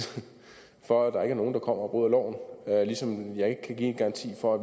for at der ikke er nogen der kommer og bryder loven ligesom jeg ikke kan give en garanti for at